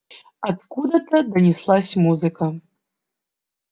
откуда-то донеслась музыка